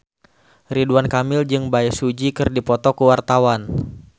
Ridwan Kamil jeung Bae Su Ji keur dipoto ku wartawan